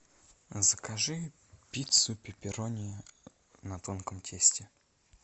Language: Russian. закажи пиццу пепперони на тонком тесте